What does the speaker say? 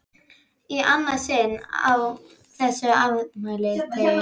Í annað sinn á þessum afmælisdegi!